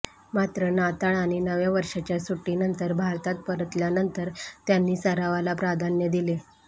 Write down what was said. मात्र नाताळ आणि नव्या वर्षाच्या सुट्टीनंतर भारतात परतल्यानंतर त्यांनी सरावाला प्राधान्य दिले